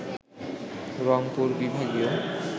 রংপুর বিভাগীয়